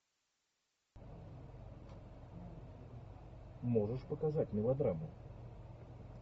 можешь показать мелодраму